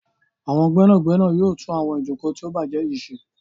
Àwọn gbénàgbénà yóò tún àwọn Ìjoko tí o bàjé yí ṣe.